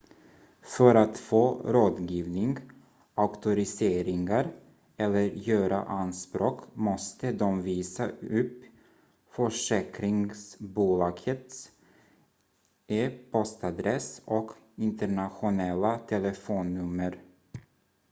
för att få rådgivning/auktoriseringar eller göra anspråk måste de visa upp försäkringsbolagets e-postadress och internationella telefonnummer